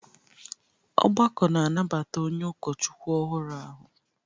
Ọgbakọ na-anabata onye ụkọchukwu ọhụrụ ahụ